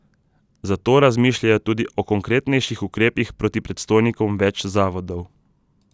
Zato razmišljajo tudi o konkretnejših ukrepih proti predstojnikom več zavodov.